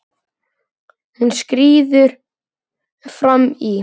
Hún skríður fram í.